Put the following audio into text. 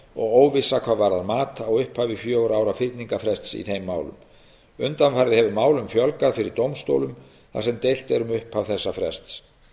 óvissa hvað varðar mat á upphafi fjögurra ára fyrningarfrests í þeim málum undanfarið hefur málum fjölgað fyrir dómstólum þar sem deilt er um upphaf þessa frests